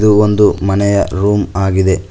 ಇದು ಒಂದು ಮನೆಯ ರೂಮ್ ಆಗಿದೆ.